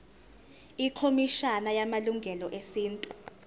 ikhomishana yamalungelo esintu